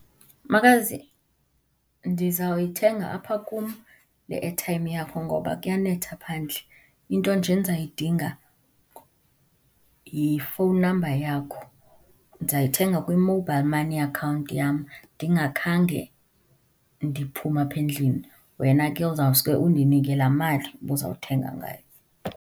Makazi, ndizawuyithenga apha kum le airtime yakho ngoba kuyanetha phandle, into nje endizayidinga yi-phone number yakho. Ndizayithenga kwi-mobile money account yam ndingakhange ndiphume apha endlini, wena ke uzawuske undinike laa mali ubuzawuthenga ngayo.